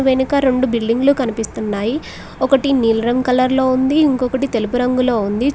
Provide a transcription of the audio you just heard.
వెనుక రొండు బిల్డింగ్లు కనిపిస్తున్నాయి ఒకటి నీలి రంగు కలర్ లో ఉంది ఇంకొకటి తెలుపు రంగులో ఉంది.